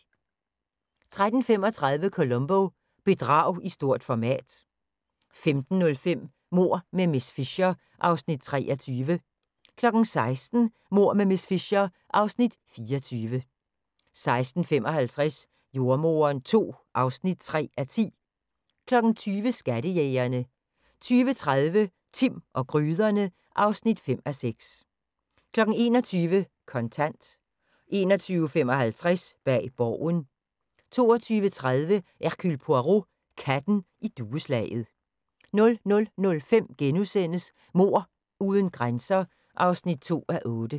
13:35: Columbo: Bedrag i stort format 15:05: Mord med miss Fisher (Afs. 23) 16:00: Mord med miss Fisher (Afs. 24) 16:55: Jordemoderen II (3:10) 20:00: Skattejægerne 20:30: Timm og gryderne (5:6) 21:00: Kontant 21:55: Bag Borgen 22:30: Hercule Poirot: Katten i dueslaget 00:05: Mord uden grænser (2:8)*